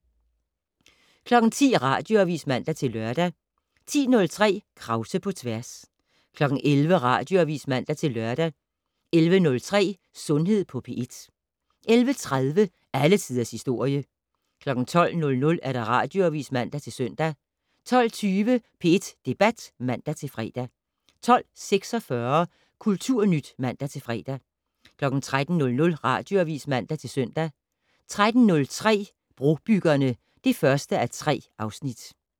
10:00: Radioavis (man-lør) 10:03: Krause på tværs 11:00: Radioavis (man-lør) 11:03: Sundhed på P1 11:30: Alle Tiders Historie 12:00: Radioavis (man-søn) 12:20: P1 Debat (man-fre) 12:46: Kulturnyt (man-fre) 13:00: Radioavis (man-søn) 13:03: Brobyggerne (1:3)